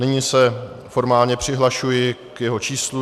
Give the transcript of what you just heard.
Nyní se formálně přihlašuji k jeho číslu.